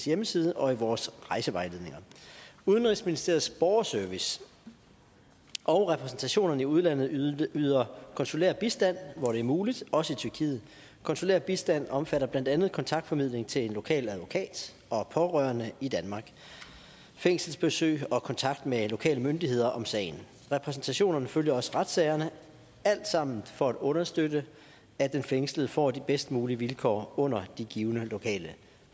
hjemmeside og i vores rejsevejledninger udenrigsministeriets borgerservice og repræsentationerne i udlandet yder yder konsulær bistand hvor det er muligt også i tyrkiet konsulær bistand omfatter blandt andet kontaktformidling til en lokal advokat og pårørende i danmark fængselsbesøg og kontakt med lokale myndigheder om sagen repræsentationerne følger også retssagerne alt sammen for at understøtte at den fængslede får de bedst mulige vilkår under de givne lokale